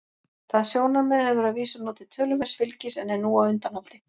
Það sjónarmið hefur að vísu notið töluverðs fylgis en er nú á undanhaldi.